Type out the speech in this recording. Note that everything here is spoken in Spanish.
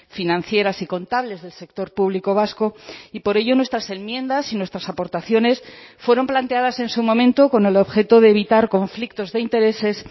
financieras y contables del sector público vasco y por ello nuestras enmiendas y nuestras aportaciones fueron planteadas en su momento con el objeto de evitar conflictos de intereses